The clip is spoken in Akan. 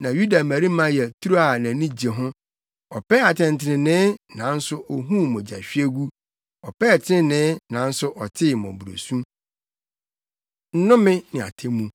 na Yuda mmarima yɛ turo a nʼani gye ho. Ɔpɛɛ atɛntrenee nanso ohuu mogyahwiegu; ɔpɛɛ trenee nanso ɔtee mmɔborɔsu. Nnome Ne Atemmu